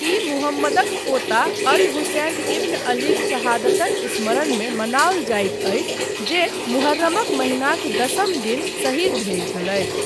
ई मुहम्मदक पोता Al Hussain ibn अलीक शहादतक स्मरणमे मनाओल जाइत अछि जे मुहर्रमक महीनाक दशम दिन शहीद भेल छलथि।